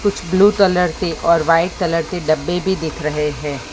कुछ blue colour के और व्हाईट कलर के डब्बे भी दिख रहे हैं।